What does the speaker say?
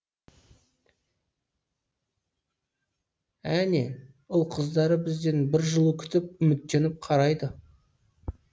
әне ұл қыздары бізден бір жылу күтіп үміттеніп қарайды